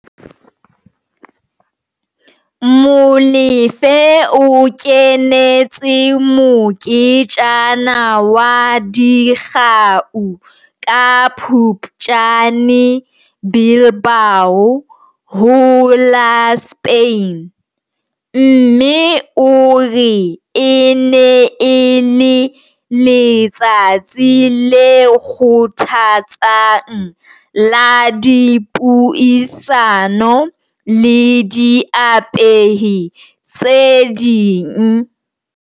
Molefe o kenetse moketjana wa dikgau ka Phuptjane Bilbao, ho la Spain, mme o re e ne e le letsatsi le kgothatsang la dipuisano le diapehi tse ding.